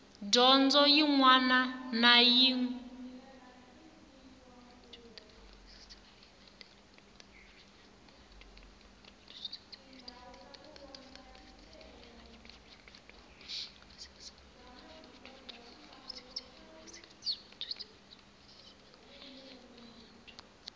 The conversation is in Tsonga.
dyondzo yin wana na yin